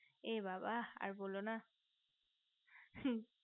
এ বাবা আর বোলো না হু